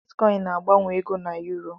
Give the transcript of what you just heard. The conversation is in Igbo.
Bitkọịn na-agbanwe ego dọla na yuro.